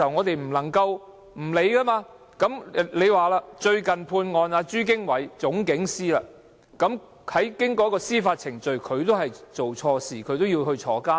最近被判有罪的朱經緯是總警司，經過司法程序，證明他做錯事，他也被判入獄。